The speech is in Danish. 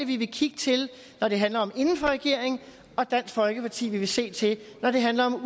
vi vil kigge til når det handler om at en regering og dansk folkeparti vi vil se til når det handler om at